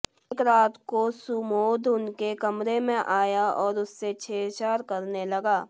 एक रात को सुमोध उनके कमरे में आया और उससे छेड़छाड़ करने लगा